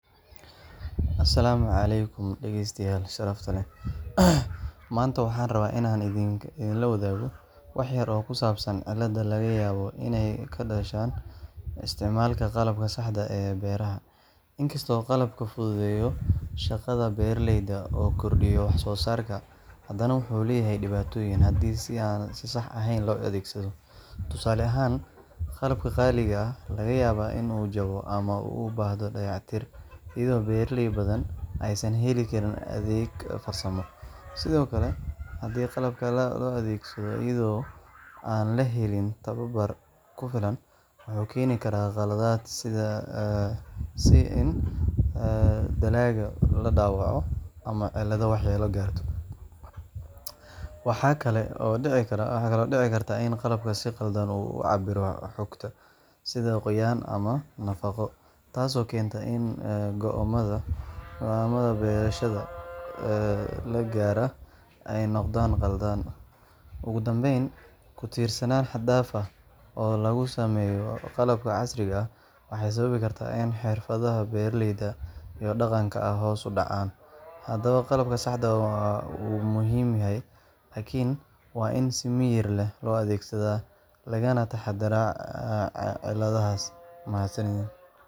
Asalaamu calaykum dhageystayaal sharafta leh. Maanta waxaan rabaa inaan idinla wadaago wax yar oo ku saabsan cilladaha laga yaabo inay ka dhashaan isticmaalka qalabka saxda ah ee beeraha. Inkastoo qalabku fududeeyo shaqada beeraleyda oo kordhiyo wax-soosaarka, haddana wuxuu leeyahay dhibaatooyin haddii si aan sax ahayn loo adeegsado. Tusaale ahaan, qalabka qaali ah ayaa laga yaabaa in uu jabto ama u baahdo dayactir, iyadoo beeraley badan aysan heli karin adeeg farsamo. Sidoo kale, haddii qalabka la adeegsado iyadoo aan la helin tababar ku filan, wuxuu keeni karaa khaladaad sida in dalagga la dhaawaco ama ciidda waxyeello gaarto. Waxaa kaloo dhici karta in qalabku si qaldan u cabbiro xogta — sida qoyaan ama nafaqo — taasoo keenta in go’aamada beerashada la gaaraa ay noqdaan khaldan. Ugu dambayn, ku tiirsanaan xad dhaaf ah oo lagu sameeyo qalabka casriga ah waxay sababi kartaa in xirfadaha beeraleyda ee dhaqanka ah hoos u dhacaan. Haddaba, qalabka saxda ah wuu muhiim yahay, laakiin waa in si miyir leh loo adeegsadaa, lagana taxaddaraa cilladahaas. Mahadsanidiin.